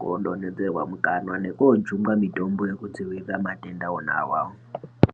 kodondodzerwa mukanwa nekojungwa mitombo wekudzivirira matenda wona awayo.